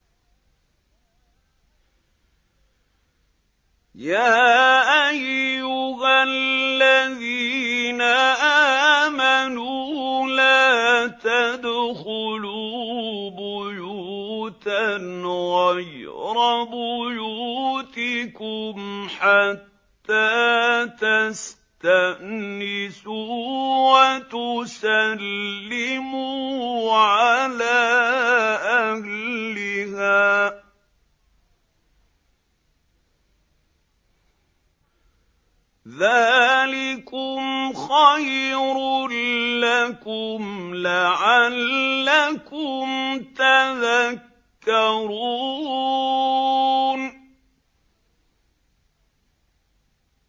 يَا أَيُّهَا الَّذِينَ آمَنُوا لَا تَدْخُلُوا بُيُوتًا غَيْرَ بُيُوتِكُمْ حَتَّىٰ تَسْتَأْنِسُوا وَتُسَلِّمُوا عَلَىٰ أَهْلِهَا ۚ ذَٰلِكُمْ خَيْرٌ لَّكُمْ لَعَلَّكُمْ تَذَكَّرُونَ